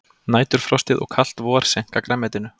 Næturfrostið og kalt vor seinka grænmetinu